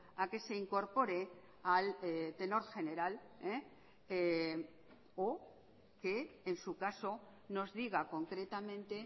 a que se incorpore al tenor general o que en su caso nos diga concretamente